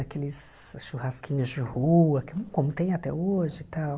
Aqueles churrasquinhos de rua, que como tem até hoje e tal.